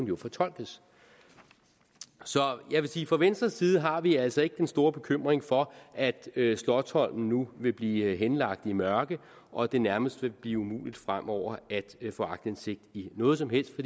jo fortolkes så jeg vil sige at fra venstres side har vi altså ikke den store bekymring for at slotsholmen nu vil blive henlagt i mørke og det nærmest vil blive umuligt fremover at få aktindsigt i noget som helst